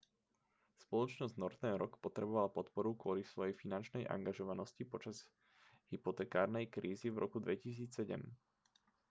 spoločnosť northern rock potrebovala podporu kvôli svojej finančnej angažovanosti počas hypotekárnej krízy v roku 2007